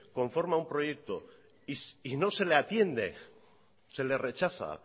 conforma un proyecto y no se le atiende se le rechaza